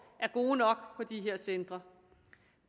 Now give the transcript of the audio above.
er gode nok på de her centre